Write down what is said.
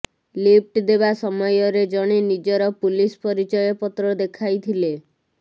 lift ଦେବା ସମୟରେ ଜଣେ ନିଜର ପୁଲିସ ପରିଚୟ ପତ୍ର ଦେଖାଇଥିଲେ